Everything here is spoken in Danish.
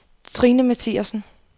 Trine Mathiassen